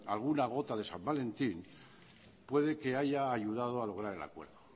alguna gota de san valentín puede que haya ayudado a lograr el acuerdo